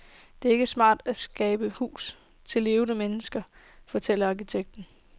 Det er ikke smart at skabe huse til levende mennesker, fortalte arkitekten.